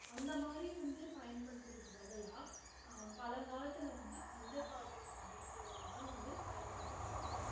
அந்த மாதிரி வந்து பயன்படுத்தற்கு பதிலா அஹ் பழங்காலத்துல வந்து பஞ்சகாவியம் அப்படிங்கற ஒண்ணு தான் வந்து பயன்படுத்துனாங்க